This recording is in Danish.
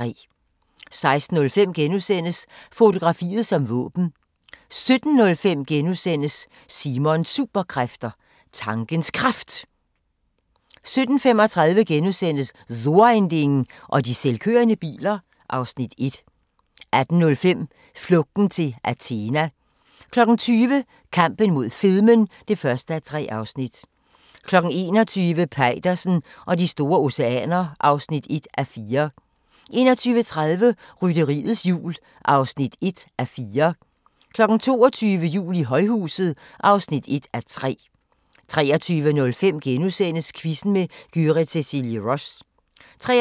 16:05: Fotografiet som våben * 17:05: Simons Superkræfter: Tankens Kraft * 17:35: So ein Ding og de selvkørende biler (Afs. 1)* 18:05: Flugten til Athena 20:00: Kampen mod fedmen (1:3) 21:00: Peitersen og de store oceaner (1:4) 21:30: Rytteriets Jul (1:4) 22:00: Jul i højhuset (1:3) 23:05: Quizzen med Gyrith Cecilie Ross * 23:35: